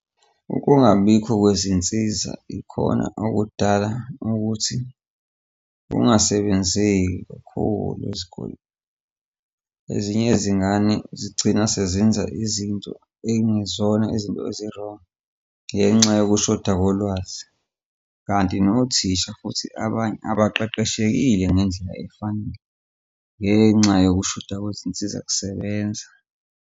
Ukungabikho kwezinsiza ikhona okudala ukuthi kungasebenzeki kakhulu ezikoleni. Ezinye izingane zigcina sezenza izinto ekungezona izinto ezi-wrong ngenxa yokushoda kolwazi. Kanti nothisha futhi abanye abaqeqeshekile ngendlela efanele ngenxa yokushoda kwezinsiza kusebenza.